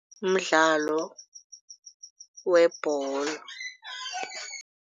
Mdlalo webholo.